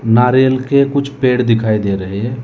नारियल के कुछ पेड़ दिखाई दे रहे हैं।